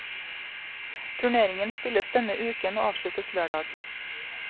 Turneringen spilles denne uken og avsluttes lørdag.